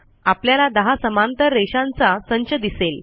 आपल्याला 10 समांतर रेषांचा संच दिसेल